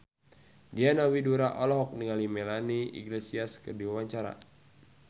Diana Widoera olohok ningali Melanie Iglesias keur diwawancara